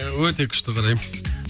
өте күшті қараймын